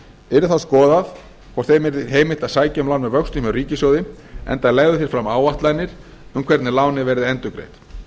yrði þá skoðað hvort þeim yrði heimilt að sækja um lán með vöxtum hjá ríkissjóði enda legðu þeir fram áætlanir um hvernig lánið verði endurgreitt